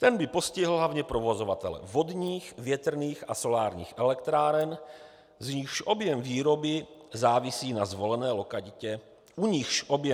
Ten by postihl hlavně provozovatele vodních, větrných a solárních elektráren, u nichž objem výroby závisí na zvolené lokalitě a na počasí.